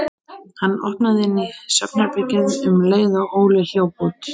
Hann opnaði inn í svefnherbergið um leið og Óli hljóp út.